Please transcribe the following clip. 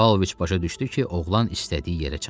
Pavloviç başa düşdü ki, oğlan istədiyi yerə çatıb.